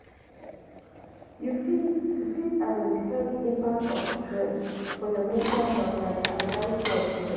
you fit you fit identify di impact of stress for your mental health like anxiety or depre.